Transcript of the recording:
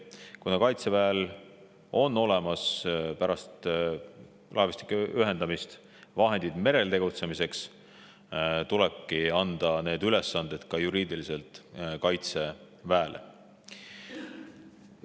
Kuna Kaitseväel on olemas pärast laevastike ühendamist vahendid merel tegutsemiseks, tulebki anda need ülesanded ka juriidiliselt Kaitseväele.